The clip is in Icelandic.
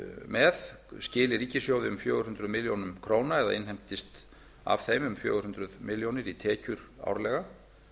með skili ríkissjóði um fjögur hundruð milljóna króna eða innheimtist af þeim um fjögur hundruð milljónir í tekjur árlega